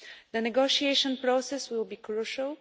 The negotiation process will be crucial.